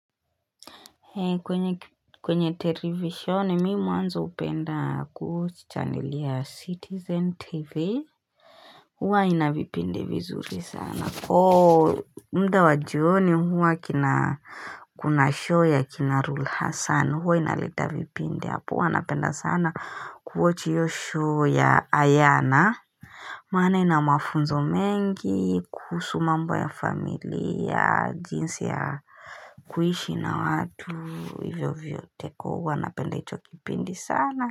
Hei kwenye televisione mimi mwanzo upenda kuwatch channel ya citizen tv Huwa ina vipindi vizuri sana huwa muda wa jioni huwa kina kuna show ya kina rulu hassan huwa inaleta vipindi hapo huwa napenda sana kuwatch hiyo show ya ayana Maana ina mafunzo mengi kuhusu mambo ya familia jinsi ya kuishi na watu hivyo hivyo tekowa napenda hicho kipindi sana.